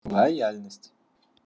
лояльность